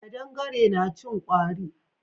Kaɗangare na cin kwari.